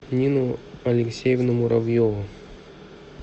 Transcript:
нину алексеевну муравьеву